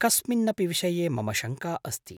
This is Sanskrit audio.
कस्मिन्नपि विषये मम शङ्का अस्ति।